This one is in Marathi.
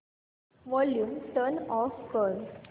वॉल्यूम टर्न ऑफ कर